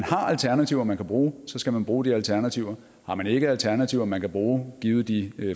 alternativer man kan bruge så skal man bruge de alternativer har man ikke alternativer man kan bruge givet de